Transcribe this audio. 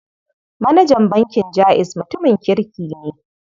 Manajan bankin Jaiz mutumin kirki ne.